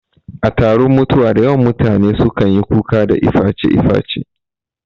A taron mutuwa dayawan mutane su kanyi kuka da iface iface